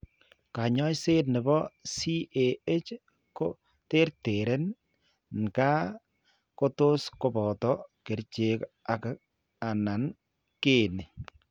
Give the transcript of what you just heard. Kaany'ayseet ne po CAH ko terteren nkaa, kotos koboto kerchek ak/anan keeny'.